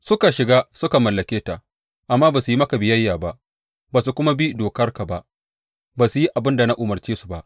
Suka shiga suka mallake ta, amma ba su yi maka biyayya ba, ba su kuma bi dokarka ba; ba su yi abin da ka umarce su ba.